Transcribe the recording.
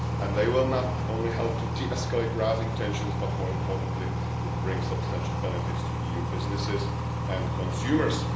They will not only help to de-escalate rising tensions but also, and more importantly, would bring substantial benefits to EU businesses and consumers.